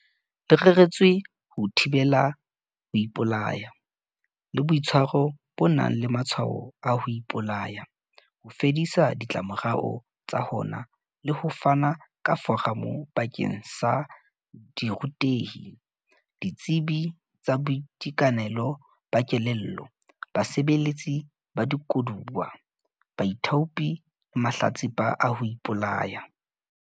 Le reretswe ho thibela ho ipolaya le boitshwaro bo nang le matshwao a ho ipolaya, ho fedisa ditlamorao tsa hona le ho fana ka foramo bakeng sa dirutehi, ditsebi tsa boitekanelo ba kelello, basebeletsi ba dikoduwa, baithaopi le mahlatsipa a ho ipolaya.